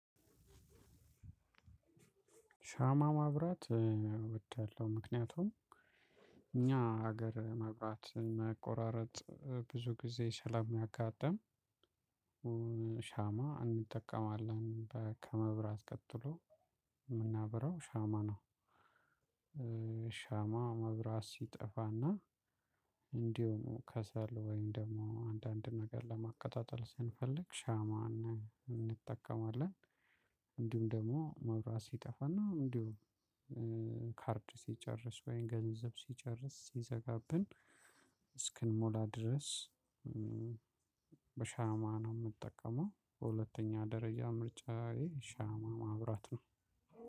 ሻማ ማብራት እወዳለሁ ምክንያቱም እኛ ሀገር መብራት መቆራረጥ ብዙ ጊዜ ስለሚያጋጥም። ሻማ እንጠቀማለን ከመብራት ቀጥሎ የምናበራው ሻማ ነው። ሻማ መብራት ሲጠፋ እና እንዲሁ ከሰል ወይም ደግሞ አንዳንድ ነገር ለማቀጣጠል ስንፈልግ ሻማ እንጠቀማለን። እንዲሁም መብራት ሲጠፋ እና እንዲሁ ካርድ ሲጨርስ ወይም ገንዘብ ሲጨርስ ሲዘጋብን እስክንሞላ ድረስ። በሻማ ነው የምጠቀመው በሁለተኛ ደረጃ ምርጫዬ ሻማ ማብራት ነው።